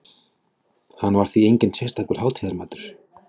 Hann var því enginn sérstakur hátíðamatur.